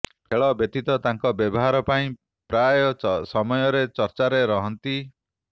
ଖେଳ ବ୍ୟତୀତ ତାଙ୍କ ବ୍ୟବହାର ପାଇଁ ପ୍ରାୟ ସମୟରେ ଚର୍ଚ୍ଚାରେ ରହନ୍ତି